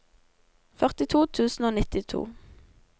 førtito tusen og nittito